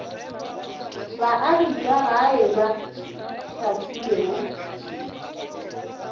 baagi ba gae ba hlahlilwego